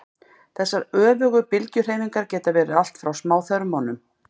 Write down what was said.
þessar öfugu bylgjuhreyfingar geta verið allt frá smáþörmunum